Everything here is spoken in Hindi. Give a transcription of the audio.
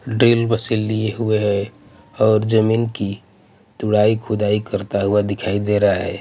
ड्रिल मशीन लिए हुए हैं और जमीन की दुड़ाई खुदाई करता हुआ दिखाई दे रहा है.